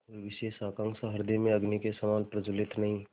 कोई विशेष आकांक्षा हृदय में अग्नि के समान प्रज्वलित नहीं